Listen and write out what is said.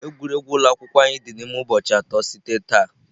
Egwuregwu ụlọ akwụkwọ anyị dị n'ime ụbọchị atọ site taa.